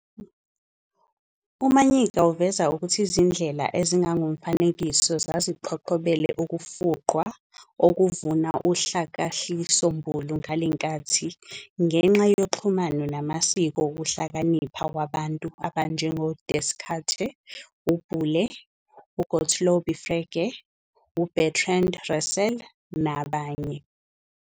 UManyika uveza ukuthi izindlela ezingokomfanekiso zaziqhoqhobele ukufuqwa okuvuna uhlakahlisombulu kulenkathi, ngenxa yoxhumano namasiko wokuhlakanipha wabantu abanje ngo-Descarte, uBoole, uGottlob Frege, uBertrand Russell, nabanye.